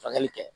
Furakɛli kɛ